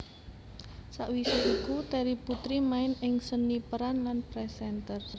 Sawise iku Terry Putri main ing seni peran lan presenter